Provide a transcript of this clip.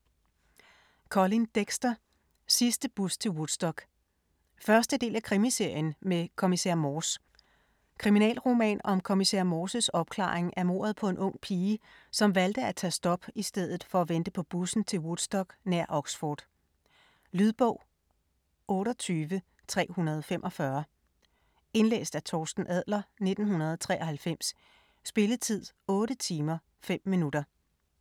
Dexter, Colin: Sidste bus til Woodstock 1. del af Krimiserien med Kommissær Morse. Kriminalroman om kommissær Morses opklaring af mordet på en ung pige, som valgte at tage på stop i stedet for at vente på bussen til Woodstock nær Oxford. Lydbog 28345 Indlæst af Torsten Adler, 1993. Spilletid: 8 timer, 5 minutter.